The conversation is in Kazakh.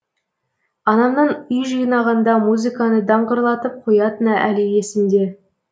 анамның үй жинағанда музыканы даңғырлатып қоятыны әлі есімде